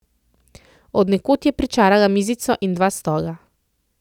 Od nekod je pričarala mizico in dva stola.